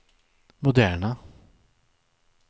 moderna